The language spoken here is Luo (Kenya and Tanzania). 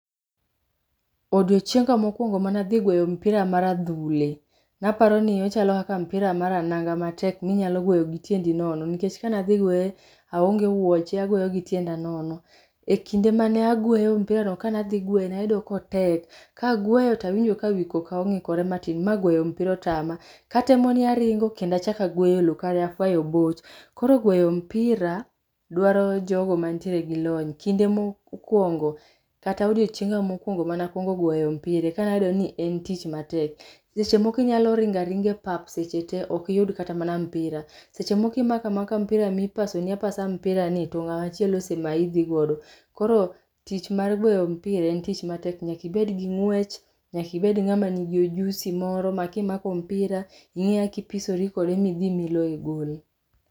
Odiochienga mokuongo mane adhi gweyo mpira mar adhule, naparoni ochalo kaka mpira mar ananga matek minyalo gweyo gi tiendi nono nikech kane adhi gweye aonge wuoche agweye gi tienda nono. E kinde mane agweyo mpirano kane adhi gweyo nayudo ka otek, kagweyo ayudo ka wii koka ongikore matin ma goyo mpira otama ,katemo ni aringo kendo achak agweyo loo, kare. Koro gweyo mpira dwaro jogo mantiere gi lony. Kinde mokuongo kata odiochienga mokuongo mar gwero mpira ekane ayudo ni en tich matek. Seche moko inyalo ringo aringa epap seche tee ok iyud kata mpira, seche moko imako amaka mpira mipaso ni apasa mpira ni to ngama chielo osemayi dho godo. Koro tich mar goyo mpira en tich matek, nyaka ibed gi ngwech, nyaka ibed gi ujusi moro ma kimako mpira inge kaka ipisore kode midhi iloye goal.